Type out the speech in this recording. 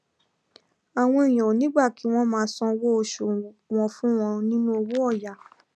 àwọn èèyàn ò ní gbà kí wón máa sanwó oṣù wọn fún wọn nínú owó òyà